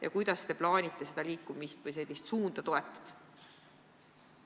Ja kuidas te plaanite liikumist selles suunas toetada?